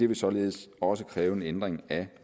vil således også kræve en ændring af